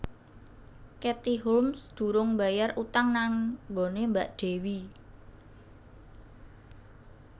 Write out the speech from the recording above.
Katie Holmes durung mbayar utang nang nggone mbak Dewi